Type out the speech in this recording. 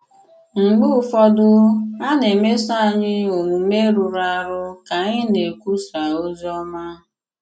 Mgbe ụfọdụ, a na-emèsò ànyị̀ òmùmè rụrụ àrụ̀ ka ànyị̀ na-ekwùsà òzì òmá.